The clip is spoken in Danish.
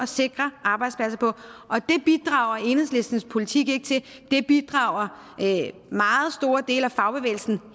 sikre arbejdspladser på og det bidrager enhedslistens politik ikke til det bidrager meget store dele af fagbevægelsen